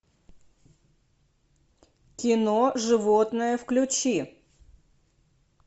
кино животное включи